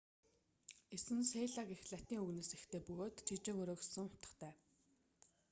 эс нь селла гэх латин үгнээс эхтэй бөгөөд жижиг өрөө гэсэн утгатай